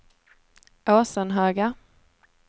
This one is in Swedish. Åsenhöga